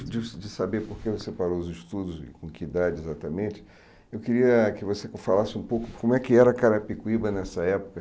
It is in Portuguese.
De de saber por que você parou os estudos e com que idade exatamente, eu queria que você falasse um pouco como é que era Carapicuíba nessa época,